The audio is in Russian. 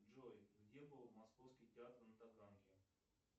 джой где был московский театр на таганке